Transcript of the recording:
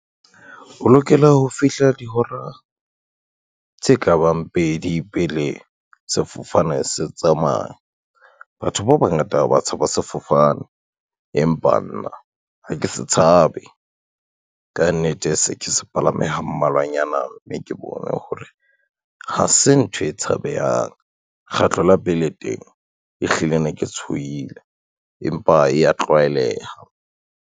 O lokela ho fihla dihora, tse ka bang pedi pele sefofane se tsamaya. Batho ba bangata ba tshaba sefofane, empa nna ha ke se tshabe, ka nnete se ke se palame ha mmalwanyana mme ke bone hore ha se ntho e tshabehang. Kgetlo la pele teng ehlile ne ke tshohile, empa e ya tlwaeleha.